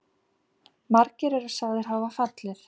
Margir eru sagðir hafa fallið.